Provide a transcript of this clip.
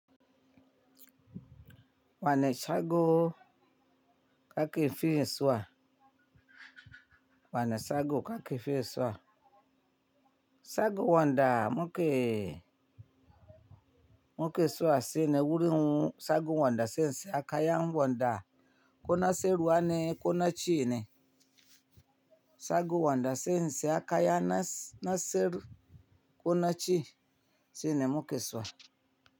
Wane shago kake fiye zuwa. Wane shago kake fiye sua. Shago wanda muke muke zuwa shine wurin shago wanda sai in siya kaya wanda kona siyarwa ne kona ci ne. Shago wanda sai in siya kaya na siyar ko naci shine muke zuwa.